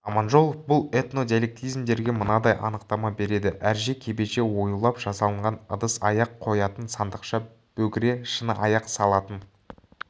аманжолов бұл этнодиалектизмдерге мынадай анықтама береді әрже кебеже оюлап жасалынған ыдыс-аяқ қоятын сандықша бөгре шыны-аяқ салатын